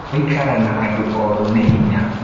Gũikara na andũ oru nĩ hinya.